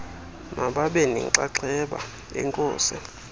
mababe nenxaxheba enkosi